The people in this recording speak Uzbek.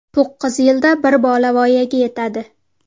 To‘qqiz yilda bir bola voyaga yetadi.